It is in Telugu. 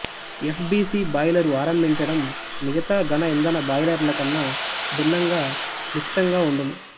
ఎఫ్ బి సి బాయిలరు ఆరంభించడం మిగతా ఘన ఇంధన బాయిలరులకన్న భిన్నంగా క్లిష్టంగా వుండును